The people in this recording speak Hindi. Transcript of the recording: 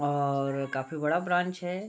और काफी बड़ा ब्रांच है।